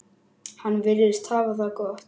Hann virðist hafa það gott.